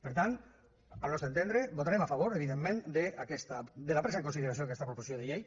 per tant al nostre entendre votarem a favor evidentment de la presa en consideració d’aquesta proposició de llei